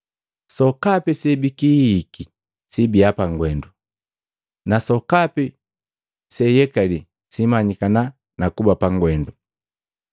“Sokapi sebikihihiki sibiya pangwendu, na sokapi seyekali simanyikana nakuba pa gwenda.